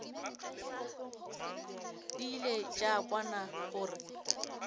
di ile tša kwana gore